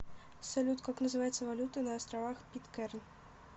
салют как называется валюта на островах питкэрн